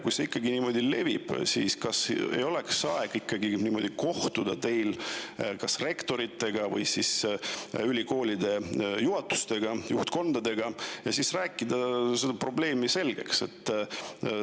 Kui see ikkagi niimoodi levib, siis kas ei oleks teil aeg kohtuda rektoritega või ülikoolide juhatustega, juhtkondadega ja rääkida see probleem selgeks?